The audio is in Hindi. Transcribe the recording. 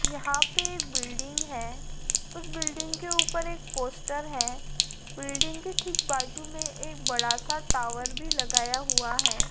यहाँ पर बिल्डिंग है उसे बिल्डिंग के ऊपर एक पोस्टर है बिल्डिंग के ठीक बाजू में एक बड़ा सा टावर भी लगाया हुआ है।